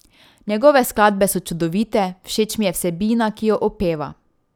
Njegove skladbe so čudovite, všeč mi je vsebina, ki jo opeva ...